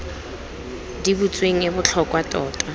di butsweng e botlhokwa tota